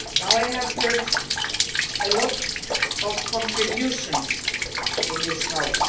I have heard a lot of contributions in this House.